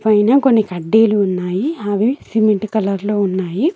పైన కొన్ని కడ్డీలు ఉన్నాయి అవి సిమెంట్ కలర్ లో ఉన్నాయి.